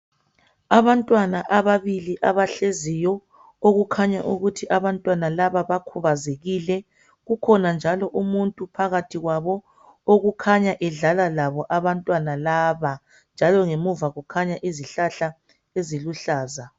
Abantwana ababili abahleziyo okukhanya ukuthi abantwana laba bakhubazekile kukhona njalo umuntu phakathi kwabo okukhanya edlala labo abantwana laba njalo ngemuva kukhanya izihlahla eziluhlaza